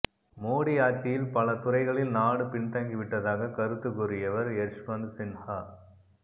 மோடி ஆட்சியில் பலதுறைகளில் நாடு பின்தங்கிவிட்டதாக கருத்து கூறியவர் யஷ்வந்த் சின்ஹா